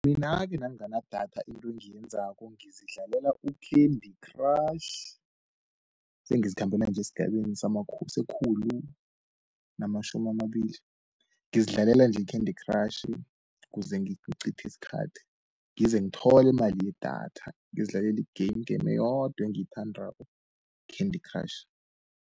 Mina-ke nangana datha into engiyenzako, ngizidlalele ukhendi khratjhi, engizikhambela nje, esgabeni sekhulu-namatjhumi-amabili. Ngizidlalela nje, ikhendi-khratjhi, kuze ngicithi iskhathi ngize ngithole imali yedatha, ngizidlaleli i-game, i-game eyodwa engiyithandako yikhendi khratjhi.